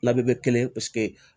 Na bɛ kɛ kelen paseke